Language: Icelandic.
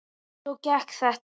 Svona gekk þetta.